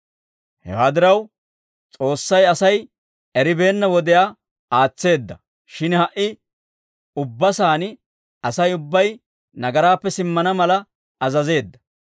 Hewaa diraw, S'oossay Asay eribeenna wodiyaa aatseedda; shin ha"i ubba saan Asay ubbay nagaraappe simmana mala azazeedda.